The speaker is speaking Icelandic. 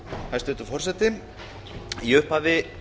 hæstvirtur forseti í upphafi